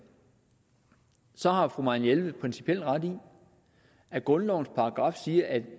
så har fru marianne jelved principielt ret i at grundlovens paragraf siger at